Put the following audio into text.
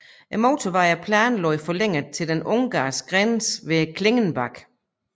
Motorvejen er planlagt forlænget til den ungarske grænse ved Klingenbach